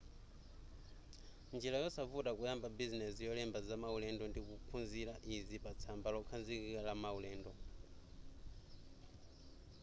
njira yosavuta kuyamba bizinezi yolemba za maulendo ndi kuphunzila izi patsamba lokhazikika la maulendo